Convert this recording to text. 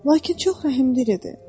Lakin çox rəhmli idi.